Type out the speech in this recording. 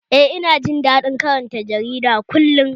Eh, ina jin daɗin karanta jarida kullum